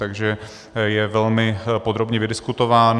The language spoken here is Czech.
Takže je velmi podrobně vydiskutován.